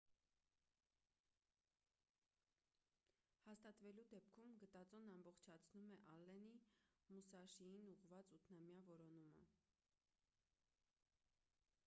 հաստատվելու դեպքում գտածոն ամբողջացնում է ալլենի մուսաշիին ուղղված ութնամյա որոնումը